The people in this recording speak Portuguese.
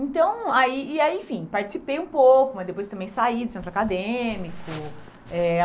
Então aí e aí enfim participei um pouco, mas depois também saí do centro acadêmico. Eh